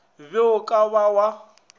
be o ka ba wa